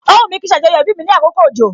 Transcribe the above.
O wumi kí n ṣe ajoyo ibi mi ní àkókò òjò